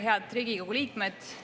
Head Riigikogu liikmed!